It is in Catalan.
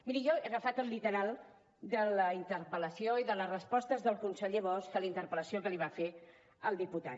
miri jo he agafat el literal de la interpel·lació i de la resposta del conseller bosch a la interpel·lació que li va fer el diputat